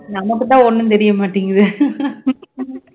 நமக்குத்தான் ஒன்னும் தெரிய மாட்டேங்குது